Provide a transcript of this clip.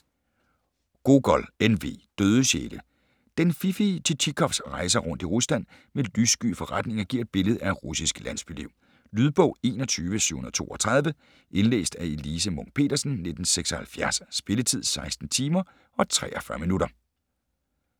Gogol, N. V.: Døde sjæle Den fiffige Tjitjikovs rejser rundt i Rusland med lyssky forretninger giver et billede af russisk landsbyliv. Lydbog 21732 Indlæst af Elise Munch-Petersen, 1976. Spilletid: 16 timer, 43 minutter.